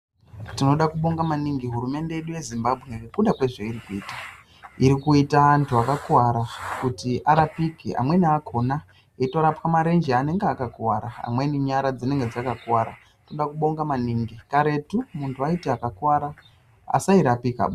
Tinoda kubonga maningi hurumende yedu yeZimbabwe nekuda kwezveiri kuita. Iri kuita antu akakuwara kuti arapike, amweni akhona eitorapwa marenje anenge akakuwara, amweni nyara dzakakuwara. Toda kubonda maningi. Karetu muntu waiti akakuwara asairapikaba.